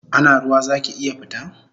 Ana ruwa zaki iya fita?